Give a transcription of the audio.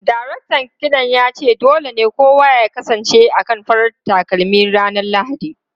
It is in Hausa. Daraktan kiɗan ya ce dole ne kowa ya kasance akan farar takalmi ranar Lahadi.